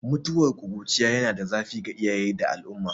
Mutuwar ƙuruciya yana da zafi ga iyaye da al'umma